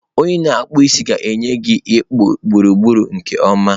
onye ikpụ isi a ga-enye gị ịkpụ gburugburu nke ọma.